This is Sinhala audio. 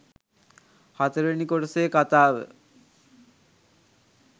හතරවෙනි කොටසේ කතාව